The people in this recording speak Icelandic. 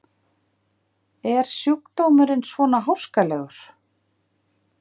Er sjúkdómurinn svona háskalegur?